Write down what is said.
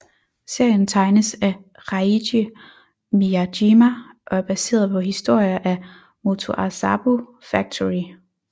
Serien tegnes af Reiji Miyajima og er baseret på historier af Motoazabu Factory